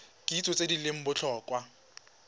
kitso tse di leng botlhokwa